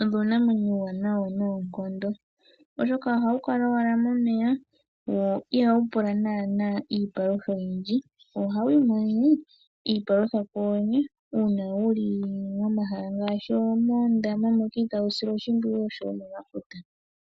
oombwanawa noonkondo oshoka ohadhi kala ashike momeya dho ihadhi pula iipalutha oyindji, ohadhiimonene iipalutha kudhodhene uuna dhili momeya unene tuu moondama.